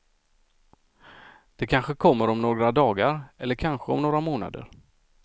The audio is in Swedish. Det kanske kommer om några dagar, eller kanske om några månader.